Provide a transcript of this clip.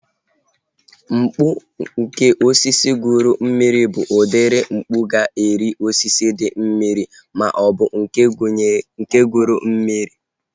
Mkpu nke osisi guru mmiri bụ udiri mkpu ga-eri osisi dị mmiri maọbụ nke guru mmiri